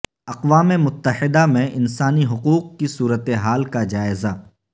اقوام متحدہ میں انسانی حقوق کی صورتحال کا جائزہ